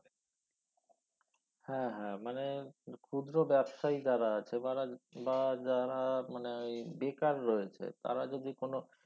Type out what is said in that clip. হ্যা হ্যা মানে ক্ষুদ্র ব্যবসায়ী যারা আছে বা যারা মানে ঐ বেকার রয়েছে তারা যদি কোনো